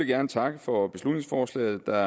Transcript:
gerne takke for beslutningsforslaget der